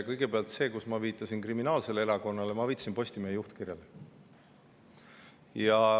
Kõigepealt see, kui ma viitasin kriminaalsele erakonnale: ma viitasin Postimehe juhtkirjale.